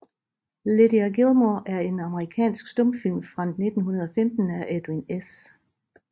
Lydia Gilmore er en amerikansk stumfilm fra 1915 af Edwin S